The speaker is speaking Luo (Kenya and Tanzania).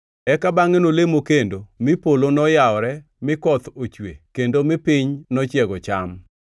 Eka bangʼe nolemo kendo mi polo noyawore mi koth ochwe kendo mi piny nochiego cham.